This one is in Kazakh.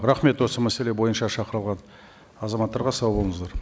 рахмет осы мәселе бойынша шақырылған азаматтарға сау болыңыздар